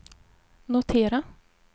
notera